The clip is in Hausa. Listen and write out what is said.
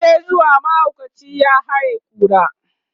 muje zuwa! mahaukaci ya hay kura